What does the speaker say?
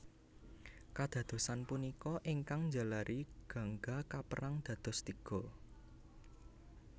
Kadadosan punika ingkang njalari Gangga kapérang dados tiga